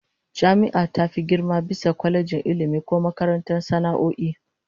Jami'a ta fi girma bisa kwalejin Ilmi ko makarantar sana'o'i